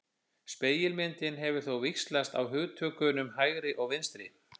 Spegilmyndin hefur þó víxlað á hugtökunum hægri og vinstri.